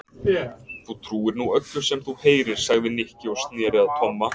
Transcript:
Þú trúir nú öllu sem þú heyrir sagði Nikki og snéri sér að Tomma.